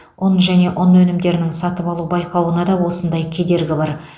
ұн және ұн өнімдерінің сатып алу байқауында да осындай кедергі бар